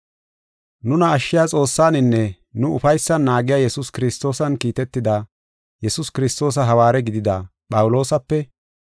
Nuna ashshiya Xoossaaninne nu ufaysan naagiya Yesuus Kiristoosan kiitetida, Yesuus Kiristoosa hawaare gidida, Phawuloosape,